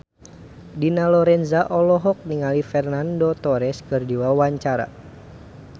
Dina Lorenza olohok ningali Fernando Torres keur diwawancara